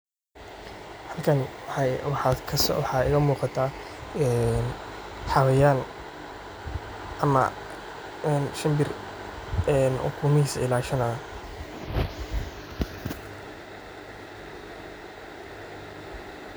Xalkan waxaa iga muuqataa een xawayan ama shimbir ukumihisa ilashanaayo.